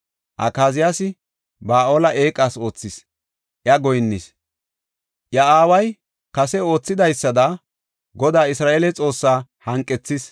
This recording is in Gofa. Akaziyaasi Ba7aale eeqas oothis; iya goyinnis. Iya aaway kase oothidaysada, Godaa Isra7eele Xoossaa hanqethis.